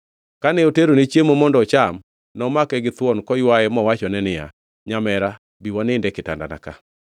Kane oterone chiemo mondo ocham nomake githuon koywaye mowachone niya, “Nyamera, bi wanind e kitandana ka.”